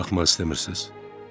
Baxmaq istəmirsiz.